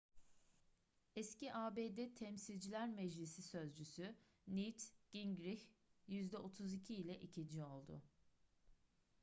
eski abd temsilciler meclisi sözcüsü newt gingrich yüzde 32 ile ikinci oldu